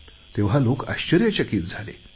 तेव्हा लोक आश्चर्यचकित झाले